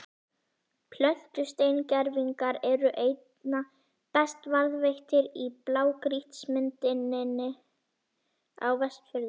Plöntusteingervingar eru einna best varðveittir í blágrýtismynduninni á Vestfjörðum.